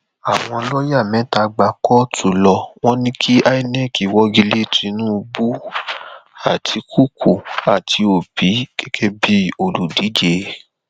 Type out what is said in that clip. àwọn lọọyà mẹta gba kóòtù lọ wọn ní kí inec wọgi lé tinubu àtikukú àti òbí gẹgẹ bíi olùdíje